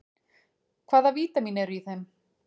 Hvaða vítamín eru í þeim?